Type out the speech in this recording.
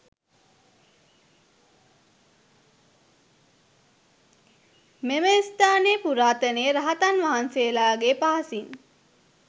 මෙම ස්ථානය පුරාතනයේ රහතන් වහන්සේලාගේ පහසින්